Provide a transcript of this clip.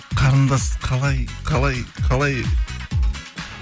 қарындас қалай қалай қалай жоқ қалыңыз қалай деген